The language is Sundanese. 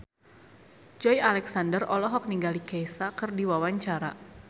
Joey Alexander olohok ningali Kesha keur diwawancara